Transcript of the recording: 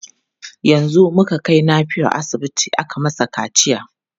Yanzu muka kai Nafiu asibiti aka masa kaciya.